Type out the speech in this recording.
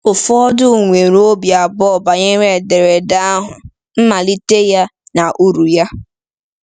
Ụfọdụ nwere obi abụọ banyere ederede ahụ, mmalite ya, na uru ya.